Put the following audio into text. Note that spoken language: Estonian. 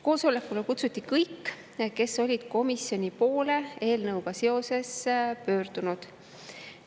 Koosolekule kutsuti kõik, kes olid komisjoni poole eelnõuga seoses pöördunud.